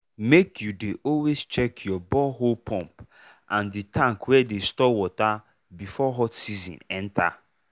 make u dey always check your borehole pump and the tank wey dey store water before hot season enter.